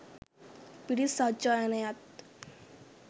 පිරිත් සජ්ඣායනයත්